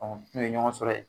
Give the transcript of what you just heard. n'u ye ɲɔgɔn sɔrɔ ye